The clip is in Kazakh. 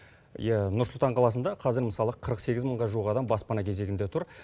иә нұр сұлтан қаласында қазір мысалы қырық сегіз мыңға жуық адам баспана кезегінде тұр